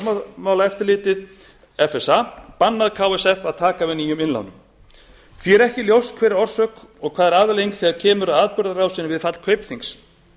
fjármálaeftirlitið bannað ksf að taka við nýjum innlánum því er ekki ljóst hver er orsök og hvað er afleiðing þegar kemur að atburðarásinni við fall kaupþings